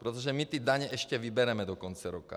Protože my ty daně ještě vybereme do konce roku.